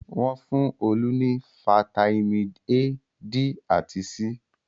Wọ́n fún Olú ní fataímìn A, D àti C.